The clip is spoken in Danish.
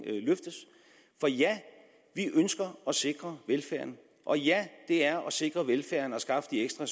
løftes for ja vi ønsker at sikre velfærden og ja det er at sikre velfærden at skaffe de ekstra